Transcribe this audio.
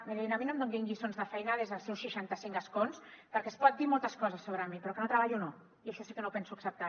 mirin a mi no em donin lliçons de feina des dels seus seixanta cinc escons perquè es pot dir moltes coses sobre mi però que no treballo no i això sí que no ho penso acceptar